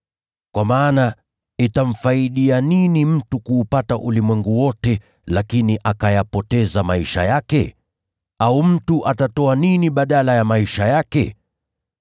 Kwa maana, je, itamfaidi nini mtu kuupata ulimwengu wote, lakini akayapoteza maisha yake? Au mtu atatoa nini badala ya nafsi yake?